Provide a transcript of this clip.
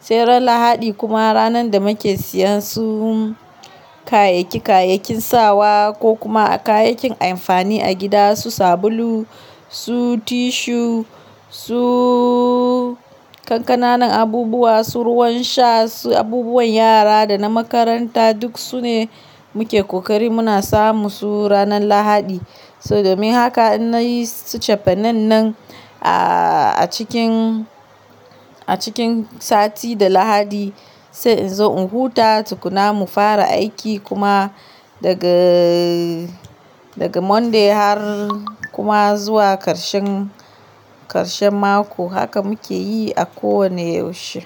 Sai ran lahadi kuma ranan da muke siyan su kayaki kayakin sawa ko kuma kayakin amfani a gida, su sabulu, su tissue, su kankanan abubuwa, su ruwan sha, su abubuwan yara da na makaranta duk sune muke kokari muna samu su ranan lahadi. So domin haka in nayi tsafenen nan, a cikin, a cikin sati da lahadi. Sai in zo in huta tukuna mu fara aiki kuma daga, daga monday har kuma zuwa karshen, karshen mako. Haka muke yi a kowane yaushe.